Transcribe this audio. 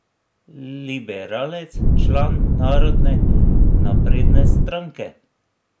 Liberalec, član Narodne napredne stranke.